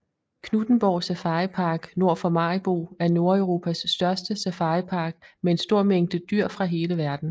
Knuthenborg Safaripark nord for Maribo er Nordeuropas største safaripark med en stor mængde dyr fra hele verden